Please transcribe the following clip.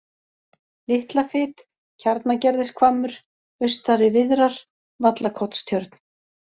Litlafit, Kjarnagerðishvammur, Austari-Víðrar, Vallakotstjörn